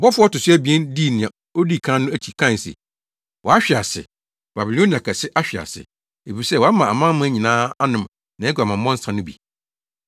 Ɔbɔfo a ɔto so abien dii nea odi kan no akyi kae se. “Wahwe ase! Babilonia kɛse ahwe ase! Efisɛ wama amanaman nyinaa anom nʼaguamammɔ nsa no bi.”